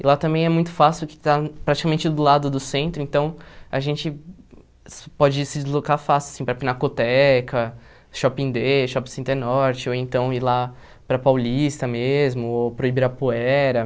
E lá também é muito fácil porque está praticamente do lado do centro, então a gente pode se deslocar fácil, assim, para Pinacoteca, Shopping Dê, Shopping Center Norte, ou então ir lá para Paulista mesmo, ou para o Ibirapuera.